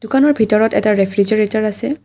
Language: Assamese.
দোকানৰ ভিতৰত এটা ৰেফ্ৰিজাৰেটৰ আছে।